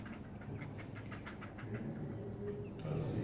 E, entendeu? E...razia todo mundo para cá. Trazia...